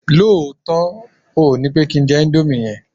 lóòtó, óò ni pe ki n je Indomie yen